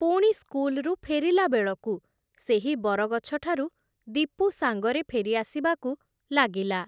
ପୁଣି ସ୍କୁଲ୍‌ରୁ ଫେରିଲା ବେଳକୁ, ସେହି ବରଗଛଠାରୁ ଦୀପୁ ସାଙ୍ଗରେ ଫେରିଆସିବାକୁ ଲାଗିଲା ।